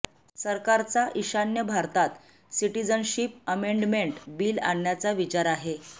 सरकारचा ईशान्य भारतात सिटिजनशिप अमेंडमेंट बिल आणण्याचा विचार आहे